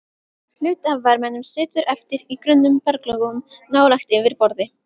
Hluti af varmanum situr eftir í grunnum berglögum nálægt yfirborði.